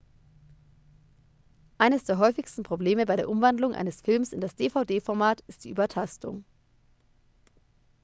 eines der häufigsten probleme bei der umwandlung eines films in das dvd-format ist die übertastung